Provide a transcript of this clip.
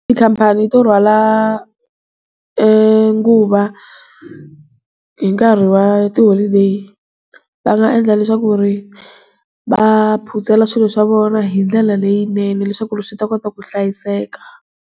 Tikhampani to rhwala nguva hinkarhi wa ti-holiday va nga endla leswaku ri va phutsela swilo swa vona hi ndlela leyinene leswaku ri swi ta kota ku hlayiseka.